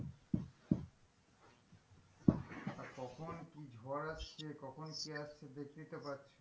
কখন কি ঝড় আসছে কখন কি আসছে দেখতেই তো পাচ্ছ,